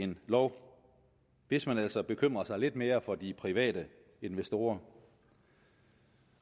lov hvis man altså bekymrede sig lidt mere for de private investorer